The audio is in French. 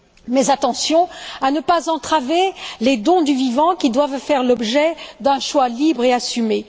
Mais attention à ne pas entraver les dons du vivant qui doivent faire l'objet d'un choix libre et assumé.